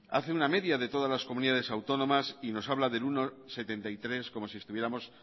hace una media de todas las comunidades autónomas y nos habla del uno coma setenta y tres como si estuviéramos